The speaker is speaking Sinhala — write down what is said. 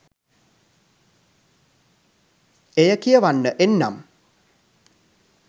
එය කියවන්න එන්නම්.